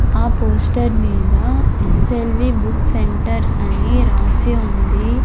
ఆ పోస్టర్ మీద S L V book centre అని రాసి ఉంది.